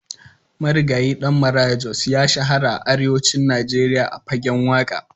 Marigayi Ɗan Maraya Jos ya shahara a arewacin Najeriya a fagen waƙa.